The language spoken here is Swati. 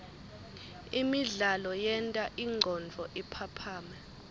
imidlalo yenta ingcondvo iphaphame